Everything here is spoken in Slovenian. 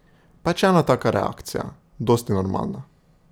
Pač ena taka reakcija, dosti normalna.